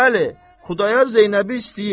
Bəli, Xudayar Zeynəbi istəyir.